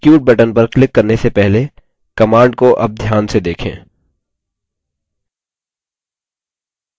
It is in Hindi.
execute button पर क्लिक करने से पहले command को अब ध्यान से देखें